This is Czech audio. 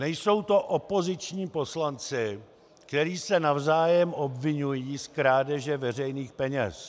Nejsou to opoziční poslanci, kteří se navzájem obviňují z krádeže veřejných peněz.